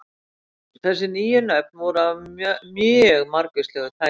Þessi nýju nöfn voru af mjög margvíslegu tagi.